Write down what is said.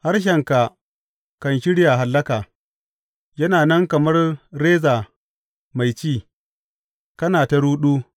Harshenka kan shirya hallaka; yana nan kamar reza mai ci, kana ta ruɗu.